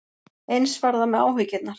Eins var það með áhyggjurnar.